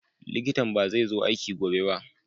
likitan bazai zo aiki gobe ba.